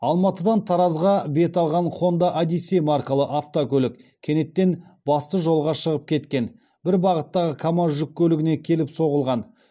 алматыдан таразға бет алған хонда одиссей маркалы автокөлік кенеттен басты жолға шығып кеткен бір бағыттағы камаз жүк көлігіне келіп соғылған